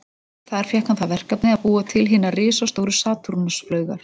Þar fékk hann það verkefni að búa til hinar risastóru Satúrnus-flaugar.